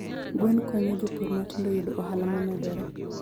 Gwen konyo jopur matindo yudo ohala momedore.